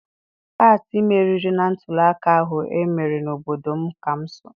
Pati meriri na ntụliaka ahụ emere na obodo m ka m so.